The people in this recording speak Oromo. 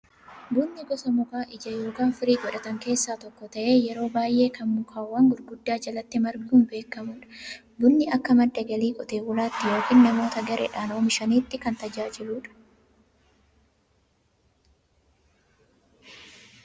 Bunni gosa mukaa ija yookiin firii godhatan keessaa tokko ta'ee, yeroo baay'ee kan mukawwan gurguddaa jalatti marguun beekamudha. Bunni akka madda galii qotee bulaatti yookiin namoota gareedhaan oomishaniitti kan tajaajiludha.